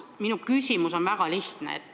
Minu küsimus on väga lihtne.